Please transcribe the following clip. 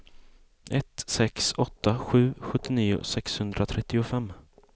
ett sex åtta sju sjuttionio sexhundratrettiofem